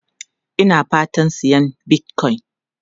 Ina fatan sayan Bitcoin.